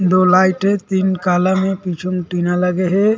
दो लाइट हे तीन कालम हे पीछे में टीना लगे हे।